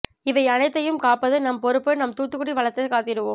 இவை அனைத்தையும் காப்பது நம் பொறுப்பு நம் தூத்துக்குடி வளத்தைக் காத்திடுவோம்